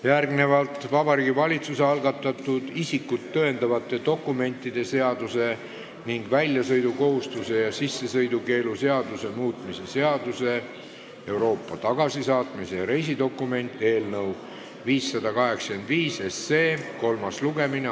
Järgnevalt on Vabariigi Valitsuse algatatud isikut tõendavate dokumentide seaduse ning väljasõidukohustuse ja sissesõidukeelu seaduse muutmise seaduse eelnõu 585 kolmas lugemine.